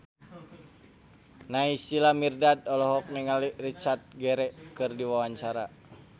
Naysila Mirdad olohok ningali Richard Gere keur diwawancara